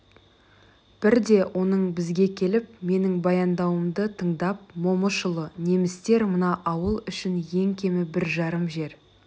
бірде оның бізге келіп менің баяндауымды тыңдап момышұлы немістер мына ауыл үшін ең кемі бір жарым жер